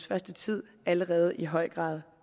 første tid allerede i høj grad